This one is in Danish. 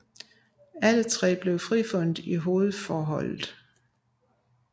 Alle tre blev frifundet i hovedforholdet